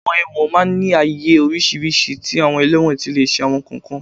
Àwọn ẹ̀wọ̀n máa ń ní àyè oríṣiríṣi tí àwọn ẹlẹ́wọ̀n ti lè ṣe àwọn nǹkan kan